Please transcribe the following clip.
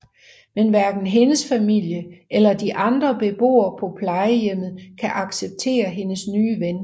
Men hverken hendes familie eller de andre beboere på plejehjemmet kan acceptere hendes nye ven